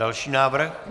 Další návrh.